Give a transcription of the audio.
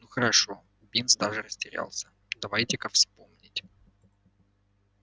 ну хорошо бинс даже растерялся давайте-ка вспомнить